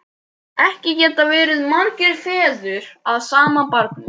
Ekki geta verið margir feður að sama barni!